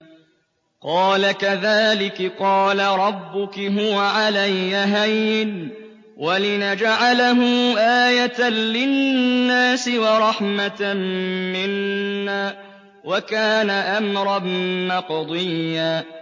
قَالَ كَذَٰلِكِ قَالَ رَبُّكِ هُوَ عَلَيَّ هَيِّنٌ ۖ وَلِنَجْعَلَهُ آيَةً لِّلنَّاسِ وَرَحْمَةً مِّنَّا ۚ وَكَانَ أَمْرًا مَّقْضِيًّا